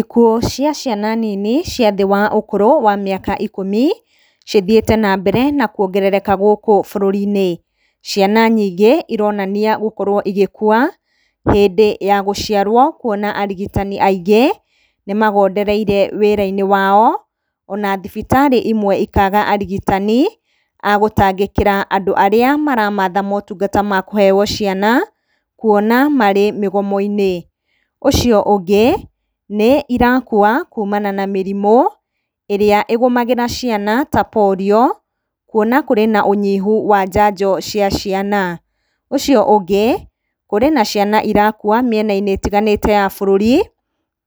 Ikuũ cia ciana nini cia thĩĩ wa ũkũrũ wa mĩaka ikũmi, cithiĩte nambere na kwongerereka gũkũ bũrũri-inĩ. Ciana nyingĩ ironania gũkorwo igĩkua hĩndĩ ya gũciarwo, kwona arigitani aingĩ nĩmagondereire wĩra-inĩ wao, ona thibitarĩ imwe ikaga arigitani a gutangĩkĩra andũ arĩa maramatha motungata ma kũheywo ciana, kwona marĩ mĩgomo-inĩ. Ũcio ũngĩ, nĩ irakua kumana na mĩrimũ ĩrĩa ĩgũmagĩra ciana ta polio, kwona kũrĩ na ũnyihu wa njanjo cia ciana. Ũcio ũngĩ kũrĩ na ciana irakua mĩena-inĩ itiganĩte ya bũrũri,